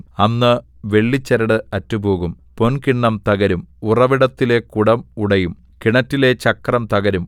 അന്ന് വെള്ളിച്ചരട് അറ്റുപോകും പൊൻകിണ്ണം തകരും ഉറവിടത്തിലെ കുടം ഉടയും കിണറ്റിലെ ചക്രം തകരും